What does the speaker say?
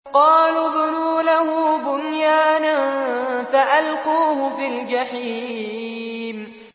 قَالُوا ابْنُوا لَهُ بُنْيَانًا فَأَلْقُوهُ فِي الْجَحِيمِ